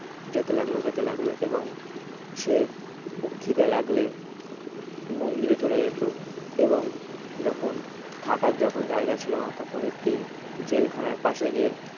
যেতে লাগলো যেতে লাগলো এবং সে খিদে লাগলে মন্দিরে চলে যেত এবং যখন থাকার যখন জায়গা ছিল না তখন একটি জেলখানার পাশে গিয়ে